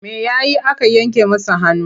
Me ya yi aka yanke masa hannu?